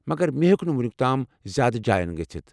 مگر مے٘ ہُیٚك نہٕ وونُیٚک تام زیادٕ جایَن گٔژھِتھ ۔